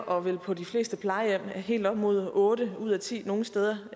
og vel på de fleste plejehjem helt op mod otte ud af ti nogle steder